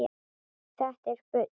Þetta er bull.